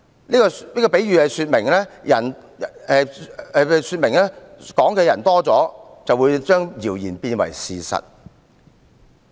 這個比喻說明，多了談論的人，便會把謠言變為事實。